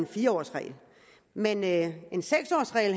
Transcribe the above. fire årsregel men at en seks årsregel